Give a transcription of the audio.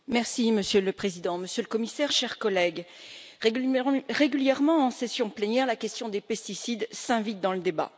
Monsieur le Président, Monsieur le Commissaire, chers collègues, régulièrement, en session plénière, la question des pesticides s'invite dans le débat.